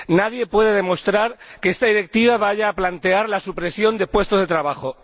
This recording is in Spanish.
Nadie puede demostrar que esta Directiva vaya a plantear la supresión de puestos de trabajo.